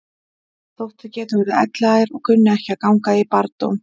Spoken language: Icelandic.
Þótt þau geti orðið elliær og kunni ekki að ganga í barndóm.